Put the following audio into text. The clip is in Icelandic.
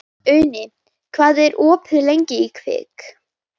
Uni, hvað er opið lengi í Kvikk?